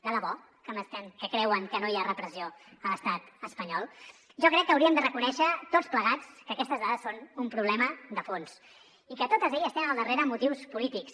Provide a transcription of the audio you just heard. de debò que creuen que no hi ha repressió a l’estat espanyol jo crec que hauríem de reconèixer tots plegats que aquestes dades són un problema de fons i que totes elles tenen al darrere motius polítics